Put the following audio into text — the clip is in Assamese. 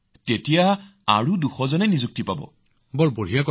তেতিয়া আৰু ২০০ জন লোকৰ বাবে নিযুক্তি বৃদ্ধি পাব মহোদয়